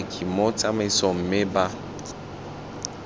paki mo tsamaisong mme ba